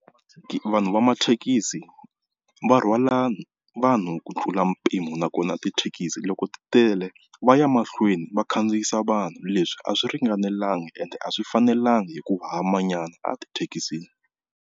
Vanhu va mathekisi va rhwala vanhu ku tlula mpimo, nakona tithekisi loko ti tele va ya mahlweni va khandziyisa vanhu leswi a swi ringanelanga ende a swi fanelanga hi ku ha manyana a tithekisini.